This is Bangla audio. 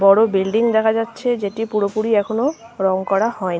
বড় বিল্ডিং দেখা যাচ্ছে। যেটা পুরোপুরি এখনো রং করা হয় নি।